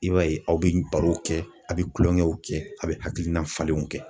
I b'a ye aw bɛ barow kɛ, a bɛ kulonkɛw kɛ, a bɛ hakilina falenw kɛ.